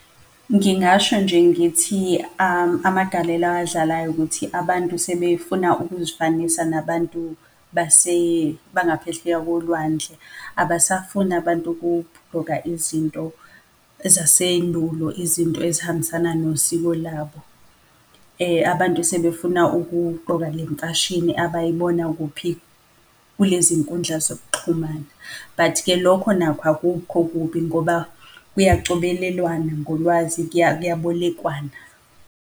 Ngingasho nje ngithi amagalelo awadlalayo ukuthi abantu sebefuna ukuzifanisa nabantu bangaphesheya kolwandle, abasafuni abantu ukuqgoka izinto ezasendulo, izinto ezihambisana nosiko labo. Abantu sebefuna ukugqoka le mfashini abayibona kuphi? Kulezi nkundla zokuxhumana. But-ke lokho nakho akukho kubi ngoba kuyacobelelwana ngolwazi kuyabolekwana.